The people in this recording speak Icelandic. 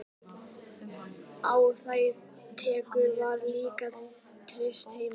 Á þær tekjur var líka treyst heima.